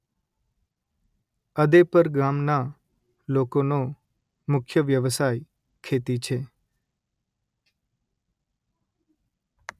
અદેપર ગામના લોકોનો મુખ્ય વ્યવસાય ખેતી છે